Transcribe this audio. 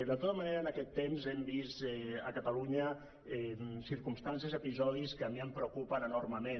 de tota manera en aquest temps hem vist a catalunya circumstàncies i episodis que a mi em preocupen enormement